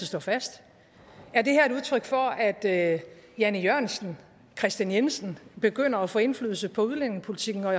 står fast er det her et udtryk for at at jan e jørgensen kristian jensen begynder at få indflydelse på udlændingepolitikken og